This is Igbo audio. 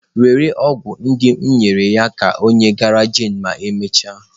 Were ọgwụ ndị m nyere nye ya ka ọ ghara jane ma emechaa.